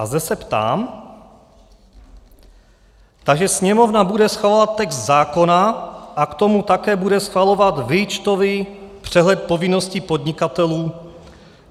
A zde se ptám: Takže Sněmovna bude schvalovat text zákona a k tomu také bude schvalovat výčtový přehled povinností podnikatelů?